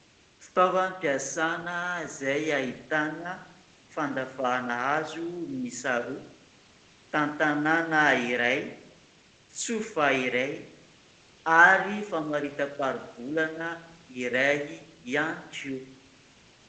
Fitaovatavam-piasana izay ahitana fandavahana hazo miisa roa, tantanàna iray, tsofa iray ary famarita-taribolana iray ihany koa.